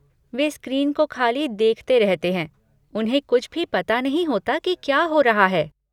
वे screen को ख़ाली देखते रहते हैं, उन्हें कुछ भी पता नहीं होता कि क्या हो रहा है।